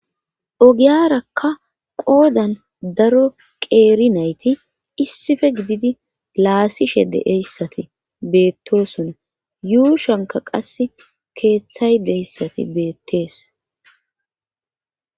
Ogiyarakka qoodan daro qeeri nayti issife gididi laasishe deeyssati beettosona yuushanka qas keeththay deyssati beettees.